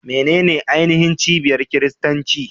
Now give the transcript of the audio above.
Menene ainihin cibiyar Kiristanci?